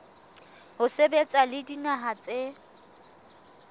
ho sebetsa le dinaha tse